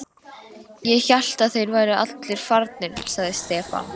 Ég hélt að þeir væru allir farnir, sagði Stefán.